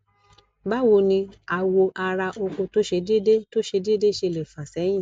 bawoni awo ara oko to se dede to se dede sele fa sehin